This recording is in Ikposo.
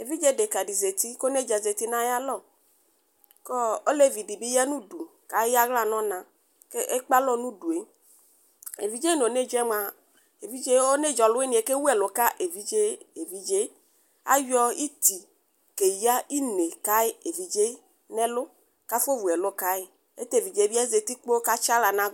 Evidze deka di zati, kʋ onedza di zati nayalɔ kʋ ɔ olevi di bi yanʋ ʋdu kʋ eyaɣla nʋ ɔna, kʋ ekpe alɔ nʋ udu e Evidze nʋ onedza yɛ moa, evidze e onedza ɔlʋwiniɛ kewʋ ɛlʋ ka evidze e, evidze e Ayɔ iti keya ine ka evidze e nʋ ɛlʋ, kʋ afɔwu ɛlʋ ka yi Ayɛlʋtɛ, evidze e bi zati kpoo katsi aɣla nʋ agʋgʋ